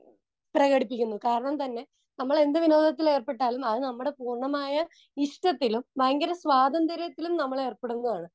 Speaker 2 പ്രകടിപ്പിക്കുന്നു. കാരണം തന്നെ നമ്മൾ എന്ത് വിനോദത്തിൽ ഏർപ്പെട്ടാലും അത് നമ്മുടെ പൂർണ്ണമായ ഇഷ്ടത്തിലും ഭയങ്കര സ്വാതന്ത്ര്യത്തിലും നമ്മൾ ഏർപ്പെടുന്നതാണ്.